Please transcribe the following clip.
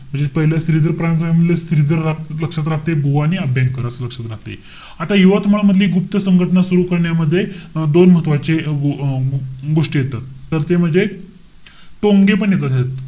त्याच्यात श्रीधर परांजपे मधलं श्रीधर लक्षात राहतंय. बुवा आणि अभ्यंकर असं लक्षात राहतंय. आता यवतमाळ मधली एक गुप्त संघटना सुरु करण्यामध्ये अं दोन महत्वाचे अं गोष्टी येतात. तर ते म्हणजे टोंगे पण येतात.